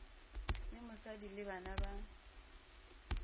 le mosadi le bana ba